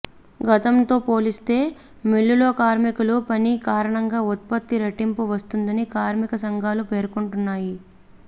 గతంతో పోలిస్తే మిల్లులో కార్మికులు పని కారణంగా ఉత్పత్తి రెట్టింపు వస్తుందని కార్మిక సంఘాలు పేర్కొంటున్నాయి